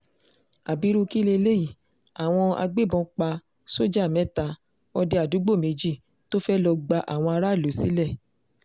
abiru kí leléyìí àwọn agbébọn pa sójà mẹ́ta òde àdúúgbò méjì tó fẹ́ẹ́ lọ́ọ́ gba àwọn aráàlú sílẹ̀